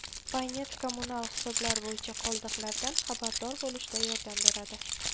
Paynet kommunal hisoblar bo‘yicha qoldiqlardan xabardor bo‘lishda yordam beradi.